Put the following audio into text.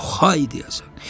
Ox hay deyəsən.